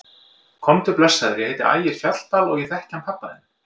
Komdu blessaður, ég heiti Ægir Fjalldal og ég þekki hann pabba þinn!